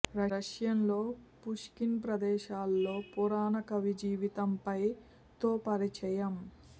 రష్యాలో పుష్కిన్ ప్రదేశాల్లో పురాణ కవి జీవితంపై తో పరిచయం